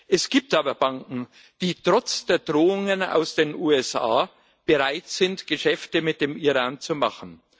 Es gibt aber Banken, die trotz der Drohungen aus den USA bereit sind, Geschäfte mit dem Iran zu machen.